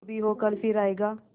जो भी हो कल फिर आएगा